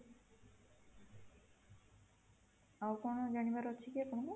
ଆଉ କଣ ଜାଣିବାର ଅଛି କି ଆପାଣଙ୍କୁ